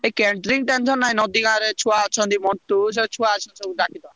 ଏ catering tension ନାହିଁ ନଦୀ ଗାଁରେ ଛୁଆ ଅଛନ୍ତି, ମଣ୍ଟୁ ସେ ଛୁଆ ଅଛନ୍ତି ସବୁ ଡାକିଦବ।